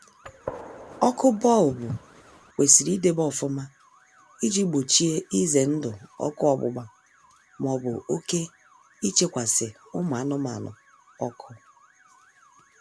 Ọkụ bọlbụ kwesịrị idebe ọfụma iji gbochie ize ndụ ọkụ ọgbụgba maọbụ oke ichekwasi ụmụ anụmanụ ọkụ